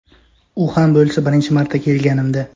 U ham bo‘lsa birinchi marta kelganimda.